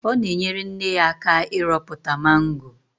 Ọ na-enyere nne ya aka ịrọpụta mango.